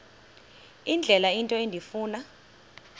indlela into endifuna